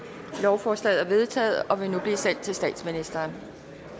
lovforslaget er vedtaget og vil nu blive sendt til statsministeren